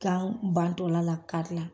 Kan bantɔla la karila